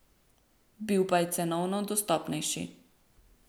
Bil pa je cenovno dostopnejši.